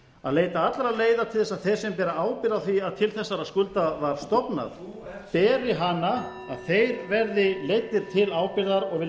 að leita allra leiða til þess að þeir sem bera ábyrgð á því að til þessara skulda var stofnað beri hana að þeir verði leiddir til ábyrgðar